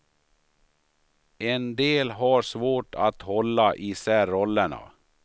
En del har svårt att hålla isär rollerna.